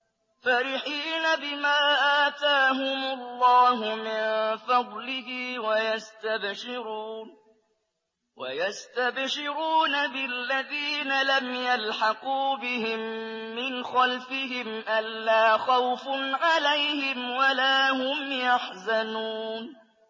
فَرِحِينَ بِمَا آتَاهُمُ اللَّهُ مِن فَضْلِهِ وَيَسْتَبْشِرُونَ بِالَّذِينَ لَمْ يَلْحَقُوا بِهِم مِّنْ خَلْفِهِمْ أَلَّا خَوْفٌ عَلَيْهِمْ وَلَا هُمْ يَحْزَنُونَ